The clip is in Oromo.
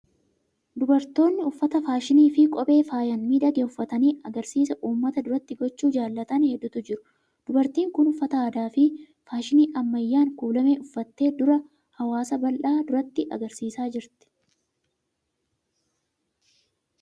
Dubartoonni uffata faashinii fi kophee faayaan miidhage uffatanii agarsiisa uummata duratti gochuu jaalatan hedduutu jiru. Dubartiin kun uffata aadaa fi faashinii ammayyaan kuulame uffattee dura hawaasa bal'aa duratti agarsiisaa jirti.